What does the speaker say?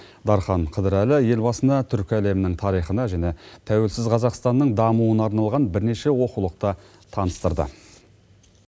дархан қыдырәлі елбасына түркі әлемінің тарихына және тәуелсіз қазақстанның дамуына арналған бірнеше оқулықты таныстырды